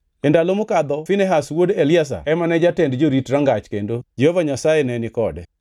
E ndalo mokadho Finehas wuod Eliazar ema ne jatend jorit rangach kendo Jehova Nyasaye nenikode.